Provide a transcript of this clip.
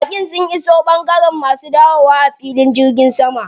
Baƙin sun iso ɓangaren masu dawowa a filin jirgin sama.